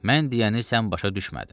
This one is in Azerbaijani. Mən deyəni sən başa düşmədin.